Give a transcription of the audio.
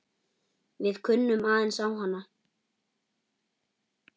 Við kunnum aðeins á hana.